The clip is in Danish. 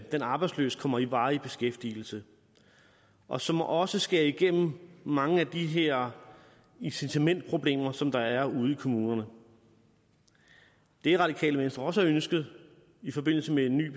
den arbejdsløse kommer i varig beskæftigelse og som også skærer igennem mange af de her incitamentsproblemer som der er ude i kommunerne det radikale venstre også har ønsket i forbindelse med en ny